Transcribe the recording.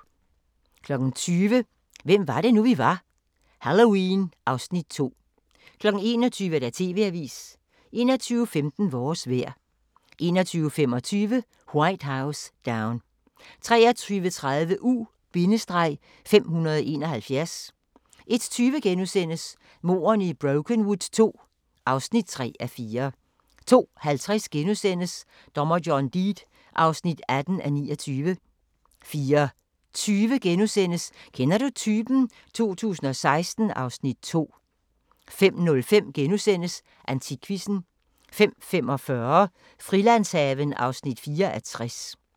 20:00: Hvem var det nu, vi var: Halloween (Afs. 2) 21:00: TV-avisen 21:15: Vores vejr 21:25: White House Down 23:30: U-571 01:20: Mordene i Brokenwood II (3:4)* 02:50: Dommer John Deed (18:29)* 04:20: Kender du typen? 2016 (Afs. 2)* 05:05: Antikquizzen * 05:45: Frilandshaven (4:60)